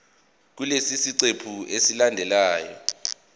kulesi siqephu esilandelayo